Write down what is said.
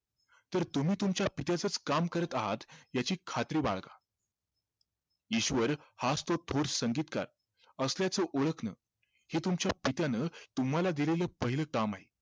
तर तुम्ही तुमच्या पित्याचाच काम करत आहात याची खात्री बाळगा ईश्वर हाच तो थोर संगीतकार असल्याचं ओळखणं हे तुमच्या पित्याने तुम्हाला दिलेलं पहिलं काम आहे